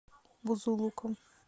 бузулуком